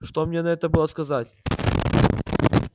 что мне на это было сказать